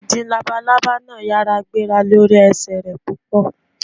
Ìdin labalábà náà yára gbéra lórí ẹsẹ̀ rẹ̀ púpọ̀.